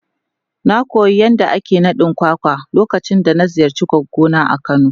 Na koyi yadda ake yin kwakwa lokacin da na ziyarci goggo a kano.